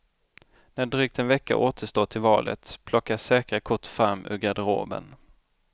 När drygt en vecka återstår till valet plockas säkra kort fram ur garderoben.